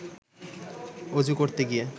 অজু করতে গিয়ে